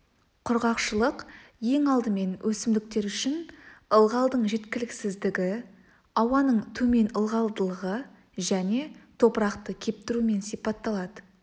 құрғақшылық ең алдымен өсімдіктер үшін ылғалдың жеткіліксіздігі ауаның төмен ылғалдылығы және топырақты кептіруімен сипатталады